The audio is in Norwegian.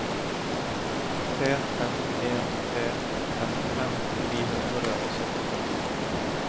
tre fem en tre femtifem ni hundre og syttifem